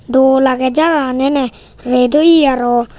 dol aage jagagan eene ret oye aro.